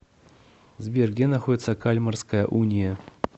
сбер где находится кальмарская уния